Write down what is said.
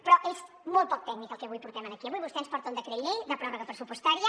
però és molt poc tècnic el que avui portem aquí avui vostè ens porta un decret llei de pròrroga pressupostària